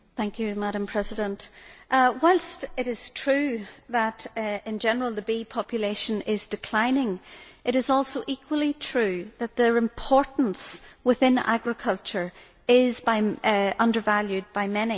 Madam President, whilst it is true that in general the bee population is declining, it is also equally true that their importance within agriculture is undervalued by many.